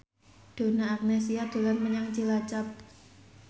Donna Agnesia dolan menyang Cilacap